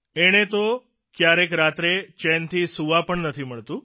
એણે તો કયારેક રાત્રે ચેનથી સૂવા પણ નથી મળતું